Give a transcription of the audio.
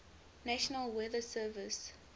national weather service